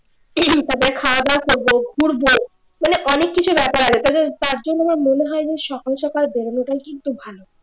তবে খাওয়া-দাওয়া করবো ঘুরবো মানে অনেক কিছু দেখার আছে তার জন্য আমার মনে হয় যে সকাল-সকাল বেরোনোটাই কিন্তু ভালো